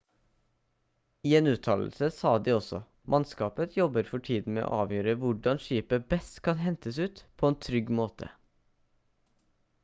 i en uttalelse sa de også: «mannskapet jobber for tiden med å avgjøre hvordan skipet best kan hentes ut på en trygg måte»